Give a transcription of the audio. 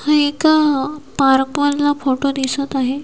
हा एक पार्क मधला फोटो दिसत आहे.